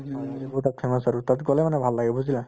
এইবোৰ তাত famous আৰু তাত গলে মানে ভাল লাগে বুজিলা